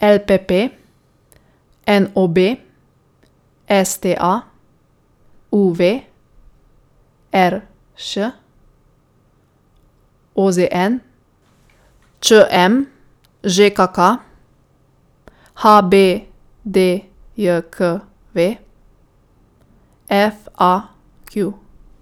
L P P; N O B; S T A; U V; R Š; O Z N; Č M; Ž K K; H B D J K V; F A Q.